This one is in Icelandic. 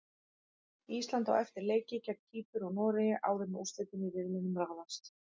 Ísland á eftir leiki gegn Kýpur og Noregi áður en úrslitin í riðlinum ráðast.